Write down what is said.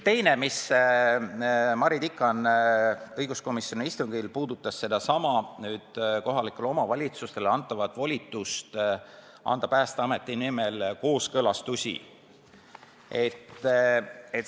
Teine teema, mida Mari Tikan õiguskomisjoni istungil puudutas, oli seesama kohalikele omavalitsustele antav volitus anda Päästeameti nimel kooskõlastusi.